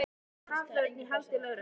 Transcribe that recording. Eins og haförn í haldi lögreglu.